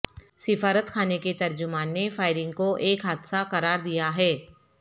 سفارت خانے کے ترجمان نے فائرنگ کو ایک حادثہ قرار دیا ہے